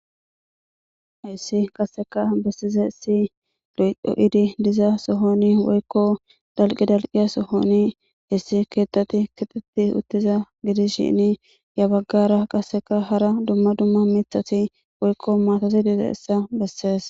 Hissi qasseka bessiza issi lo'do7idi diza sohoni woykko dalqi dalqiya sohoni hissi keettati kixetti uttiza gidis shinni ya baggara qasseka hara dumma dumma mithasi woykko maatosi diza issa bessees.